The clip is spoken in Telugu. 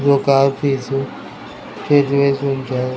ఒక ఆఫీస్ చైర్స్ వేసి ఉంచారు.